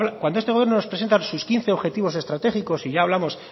cuando este gobierno nos presenta sus quince objetivos estratégicos y ya hablamos